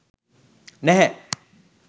නැහැ